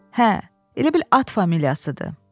Hə, elə bil at familiyasıdır.